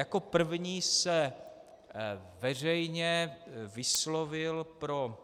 Jako první se veřejně vyslovil pro